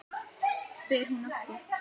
spyr hún aftur.